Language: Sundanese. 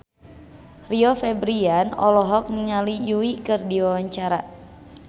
Rio Febrian olohok ningali Yui keur diwawancara